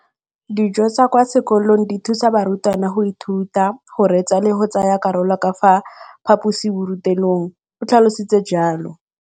Dijo tsa kwa sekolong dithusa barutwana go ithuta, go reetsa le go tsaya karolo ka fa phaposiborutelong, o tlhalositse jalo.